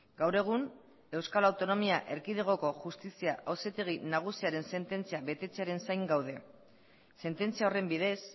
gaur egun euskal autonomia erkidegoko justizia auzitegi nagusiaren sententzia betetzearen zain gaude sententzia horren bidez